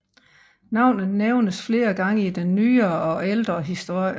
Navnet nævnes flere gange i den nyere og ældre historie